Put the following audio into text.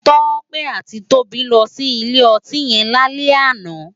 Tope àtí Tobi lò si ilé òtín yèn lálè àná